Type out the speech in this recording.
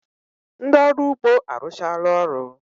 Ndị ọrụ ugbo arụchala ọrụ